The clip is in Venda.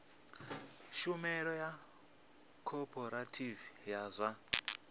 tshumelo ya khophorethivi ya zwa